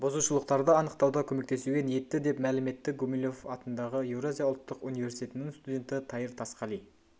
бұзушылықтарды анықтауда көмектесуге ниетті деп мәлім етті гумилев атындағы еуразия ұлттық университетінің студенті тайыр тасқали